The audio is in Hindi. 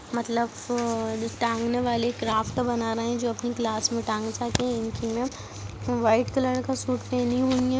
मतलब वो टांगने वाली क्राफ्ट बना रहे हैं जो अपनी क्लास में टांग सके इनकी मैम वाइट कलर का सूट पहनी हुई है।